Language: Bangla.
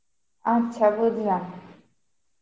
আচ্ছা বুঝলাম.